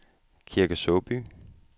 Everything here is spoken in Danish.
Kirke Såby